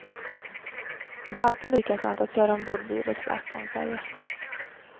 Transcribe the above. Det är alltid lika skönt att köra ombord bil och släp på en färja.